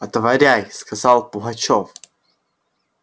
отворяй сказал пугачёв